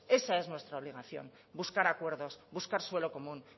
esa es nuestra obligación buscar acuerdos buscar suelo común